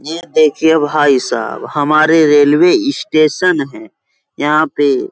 ये देखिए भाई साहब हमारे रेलवे इस्टेशन है। यहाँ पे --